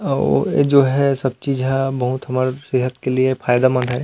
आऊ वो जो है सब चीज़ हा बहुत हमर सेहत के लिए फायदा मन्द है।